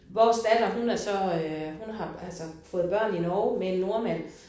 Vores datter hun er så øh hun har altså fået børn i Norge med en nordmand